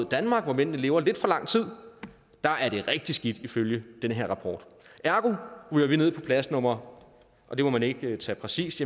danmark hvor mændene lever lidt for lang tid er rigtig skidt ifølge den her rapport ergo ryger vi ned på plads nummer og det må man ikke tage præcist